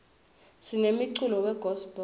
sinemculo we gospel